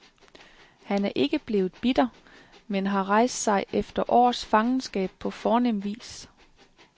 Han er ikke blevet bitter, men har rejst sig efter års fangenskab på fornem vis.